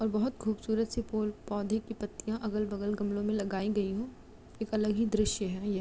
और बहुत खूबसूरत- सी फूल पौधे की पत्तियाँ अगल -बगल गमलों में लगाई गई है एक अलग ही दृश्य है ये --